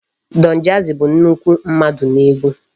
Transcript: Donjazzy bụ nnukwu mmadụ n'egwu.